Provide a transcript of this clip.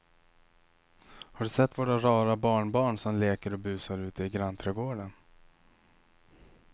Har du sett våra rara barnbarn som leker och busar ute i grannträdgården!